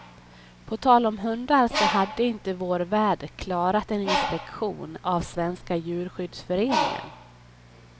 På tal om hundar så hade inte vår värd klarat en inspektion av svenska djurskyddsföreningen.